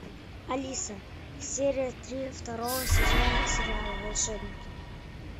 алиса серия три второго сезона сериала волшебники